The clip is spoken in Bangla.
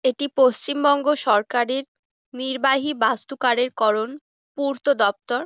এটি পশ্চিমবঙ্গ সরকারের নির্বাহী বাস্তু কারের করন পূর্ত দপ্তর।